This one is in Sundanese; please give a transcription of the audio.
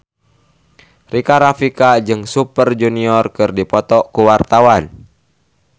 Rika Rafika jeung Super Junior keur dipoto ku wartawan